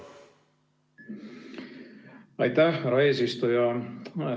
Aitäh, härra eesistuja!